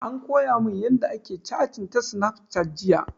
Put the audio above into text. An koya mun yanda ake catin ta snafcat jiya